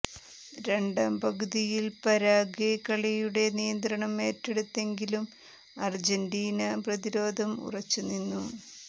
രണ്ടാം പകുതിയിൽ പരാഗ്വെ കളിയുടെ നിയന്ത്രണം ഏറ്റെടുത്തെങ്കിലും അർജൻ്റീന പ്രതിരോധം ഉറച്ചുനിന്നു